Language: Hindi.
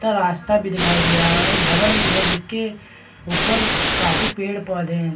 त रास्ता भी दिखाई दे रहा है और एक भवन भी है जिसके ऊपर काफी पेड-पौधे हैं।